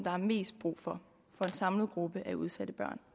er mest brug for for en samlet gruppe af udsatte børn